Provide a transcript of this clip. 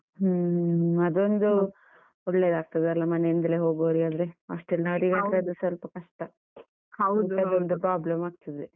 ಹ್ಮ್ ಹ್ಮ್ ಅದೊಂದು ಒಳ್ಳೆದಾಗ್ತದೆ ಅಲ, ಮನೆಯಿಂದ್ಲೆ ಹೋಗುವವರಿಗಾದ್ರೆ, ಸ್ವಲ್ಪ ಕಷ್ಟ problem ಆಗ್ತದೆ.